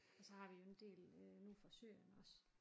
Og så har vi jo en del øh nu fra Syrien også